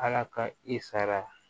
Ala ka i sara